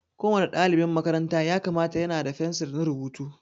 Ko wani ɗalibin makaranta ya kamata ya na da fensir na rubutu.